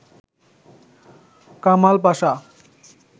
Kamal Pasha